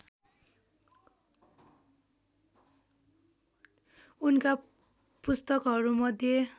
उनका पुस्तकहरूमध्ये